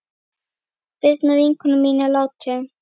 Birna vinkona mín er látin.